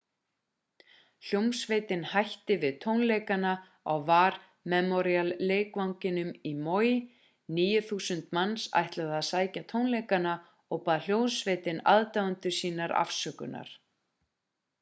hljómsveitin hætti við tónleikana á war memorial-leikvanginum í maui 9000 manns ætluðu að sækja tónleikana og bað hljómsveitin aðdáendur sína afsökunar